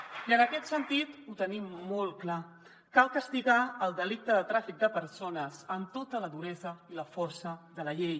i en aquest sentit ho tenim molt clar cal castigar el delicte de tràfic de persones amb tota la duresa i la força de la llei